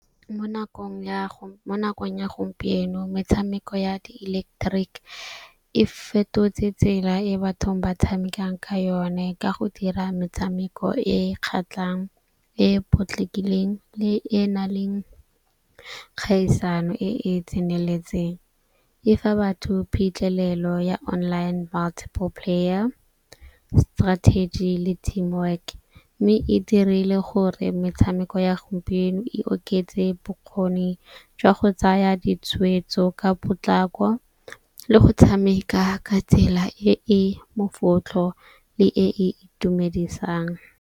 Mo nakong ya gompieno metshameko ya di-electric e fetotse tsela e bathong ba tshamekang ka yone, ka go dira metshameko e kgatlhang e potlakileng e e na leng kgaisano e e tseneletseng. E fa batho phitlhelelo ya online multiple player, strategy le team work. Mme e dirile gore metshameko ya gompieno e oketse bokgoni jwa go tsaya ditshwetso ka potlako, le go tshameka ka tsela e e mofotlho le e e itumedisang.